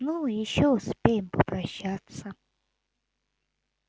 ну ещё успеем попрощаться